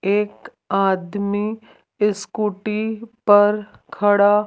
एक आदमी स्कूटी पर खड़ा--